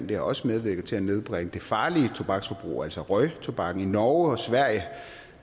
det har også medvirket til at nedbringe det farlige tobaksforbrug altså røgtobakken i norge og sverige